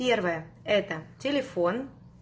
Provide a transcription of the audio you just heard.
первое это телефон